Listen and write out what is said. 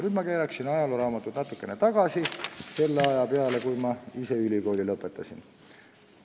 Nüüd ma keeran ajalooraamatut natukene tagasi, selle aja peale, kui ma ise ülikooli lõpetasin.